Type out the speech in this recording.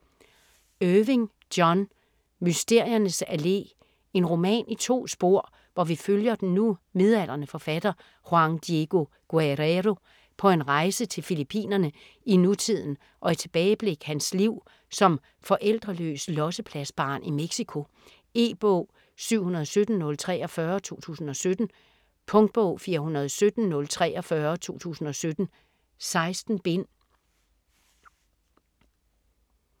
Irving, John: Mysteriernes Allé En roman i to spor, hvor vi følger den nu midaldrende forfatter Juan Diego Guerrero på en rejse til Fillippinerne i nutiden og i tilbageblik hans liv som forældreløs "lossepladsbarn" i Mexico. E-bog 717043 2017. Punktbog 417043 2017. 16 bind.